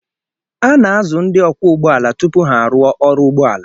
A na-azụ ndị ọkwọ ụgbọala tupu ha arụọ ọrụ ụgbọ ala